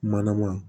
Manama